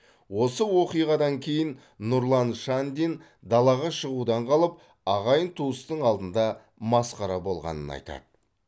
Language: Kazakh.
осы оқиғадан кейін нұрлан шандин далаға шығудан қалып ағайын туыстың алдында масқара болғанын айтады